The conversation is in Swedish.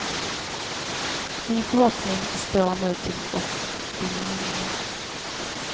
Min förhoppning står nu till opinionen.